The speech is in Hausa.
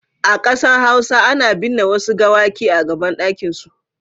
A Kansan hausa ana bin'ne Wasu gawaki a gaban dakin su.